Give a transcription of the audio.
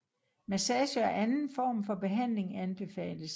Massage og anden form for behandling anbefales